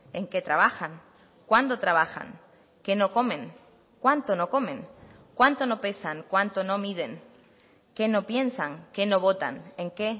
en qué trabajan cuándo trabajan qué no comen cuánto no comen cuánto no pesan cuánto no miden qué no piensan qué no votan en qué